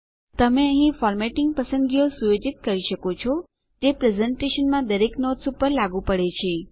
તમે અહીં ફોર્મેટિંગ પસંદગીઓ સુયોજિત કરી શકો છો જે પ્રેસેન્ટેશનમાં દરેક નોટ્સ ઉપર લાગુ પડે છે